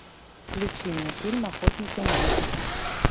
включи мне фильм охотники на ведьм